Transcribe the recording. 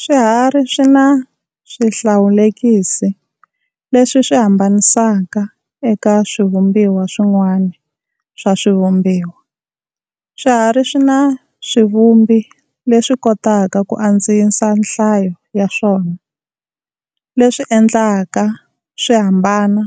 Swiharhi swina swihlawulekisi leswi swi hambanisaka eka swivumbiwa swin'wana swa swivumbiwa. Swiharhi swina swivumbi leswi kotaka ku andzisa nhlayo ya swona, leswi endlaka swi hambana